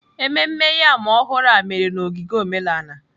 Ememme yam ọhụrụ a mere na ogige omenala.